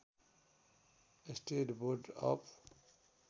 state board of